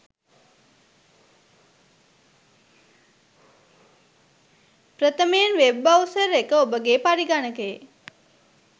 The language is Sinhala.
ප්‍රථමයෙන් වෙබ් බ්‍රව්සර් එක ඔබගේ පරිඝනකයේ